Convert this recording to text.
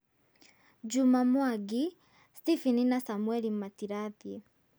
Juma Mwangi: Stephen na Samuel matirathiĩ...